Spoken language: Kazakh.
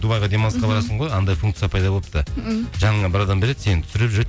дубайға демалысқа барасың ғой анандай функция пайда болыпты м жаныңа бір адам береді сені түсіріп жүреді